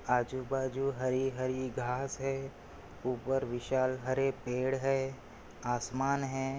आजूबाजू हरी-हरी घास है ऊपर विशाल हरे पेड़ है आसमान है।